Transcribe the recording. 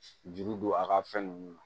Juru don a ka fɛn nunnu na